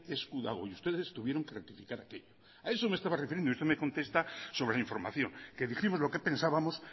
esku dago y ustedes tuvieron que rectificar a eso me estaban refiriendo y usted me contesta sobre la información que dijimos lo que pensábamos